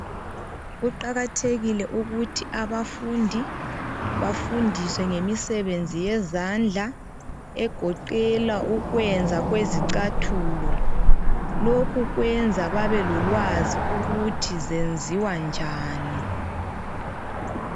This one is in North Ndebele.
Kuqakathekile ukuthi abafundi bafundiswe ngemisebenzi yezandla egoqela ukwenza kwezicathulo. Lokhu kwenza babelolwazi ukuthi zenziwa njani.